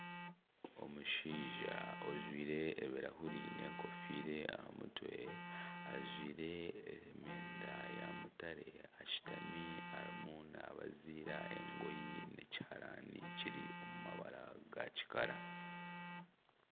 Omushaija ojwaire ebirahure n'enkofiira aha mutwe, ajwire emyenda ya mutare ashutami arimu naabaziira engoye ekiharaani kiri omu mabara ga kikara